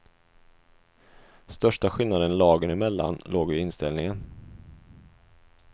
Största skillnaden lagen emellan låg i inställningen.